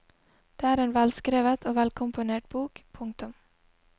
Det er en velskrevet og velkomponert bok. punktum